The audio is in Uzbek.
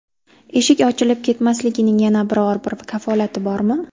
Eshik ochilib ketmasligining yana biror-bir kafolati bormi?